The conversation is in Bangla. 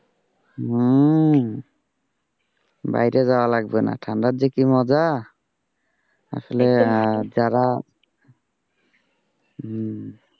হম বাইরে যাওয়া লাগবে না ঠান্ডার যে কি মজা, আসলে যারা উহ